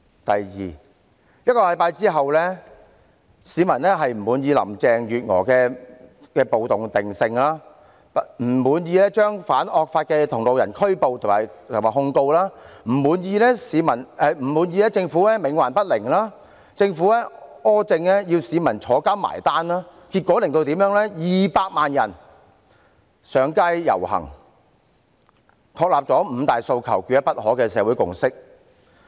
第二 ，1 星期後，市民不滿意林鄭月娥的"暴動"定性、不滿意反惡法的同路人被拘捕和控告、不滿意政府冥頑不靈、不滿意政府的苛政要由市民入獄"埋單"，結果導致200萬人上街遊行，確立了"五大訴求，缺一不可"的社會共識。